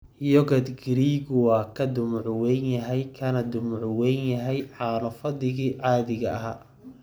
Yogurt Giriiggu waa ka dhumuc weyn yahay kana dhumuc weyn yahay caano fadhigii caadiga ahaa.